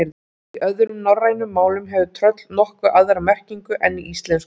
Í öðrum norrænum málum hefur tröll nokkuð aðra merkingu en í íslensku.